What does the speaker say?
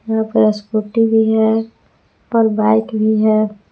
यहां पे स्कूटी भी है और बाइक भी है।